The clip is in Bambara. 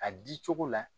A di cogo la